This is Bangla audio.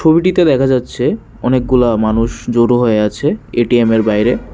ছবিটিতে দেখা যাচ্ছে অনেকগুলা মানুষ জোরো হয়ে আছে এটিএময়ের বাইরে।